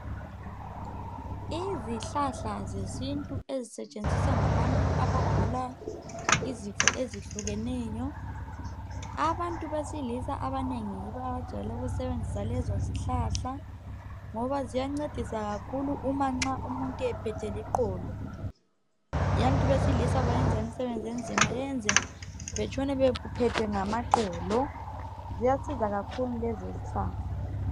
Izihlahla zesintu ezisetshenziswa ngabantu abagulayo izifo ezehlukeneyo abantu besilisa abanengi bajayele ukusebenzisa lezizihlahla ngoba ziyancedisa kakhulu uma nxa umuntu ephethwe liqolo abantu besilisa bayenza imisebenzi enzima eyenza betshone bephethwe ngamaqolo ziyasiza kakhulu lezozihlahla.